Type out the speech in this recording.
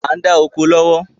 À ń dá oko lọ́wọ́